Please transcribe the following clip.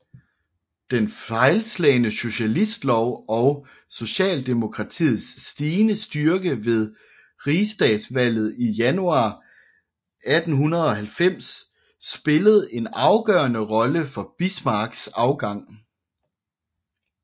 Den fejlslagne socialistlov og socialdemokratiets stigende styrke ved rigsdagsvalget i januar 1890 spillede en afgørende rolle for Bismarcks afgang